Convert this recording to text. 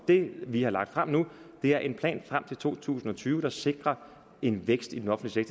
det vi har lagt frem nu er en plan frem til to tusind og tyve der sikrer en vækst i den offentlige